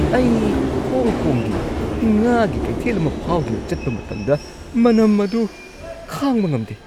ꯑꯩ ꯍꯣꯡ ꯀꯣꯡꯒꯤ ꯉꯥꯒꯤ ꯀꯩꯊꯦꯜ ꯑꯃ ꯐꯥꯎꯗꯨꯅ ꯆꯠꯄ ꯃꯇꯝꯗ ꯃꯅꯝ ꯑꯗꯨ ꯈꯥꯡꯕ ꯉꯝꯗꯦ꯫